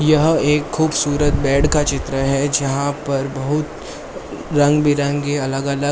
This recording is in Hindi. यह एक खूबसूरत बेड का चित्र है जहां पर बहुत रंग बिरंगी अलग अलग--